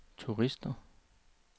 turister